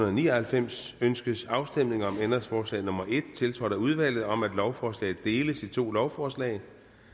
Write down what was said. og ni og halvfems ønskes afstemning om ændringsforslag nummer en tiltrådt af udvalget om at lovforslaget dels i to lovforslag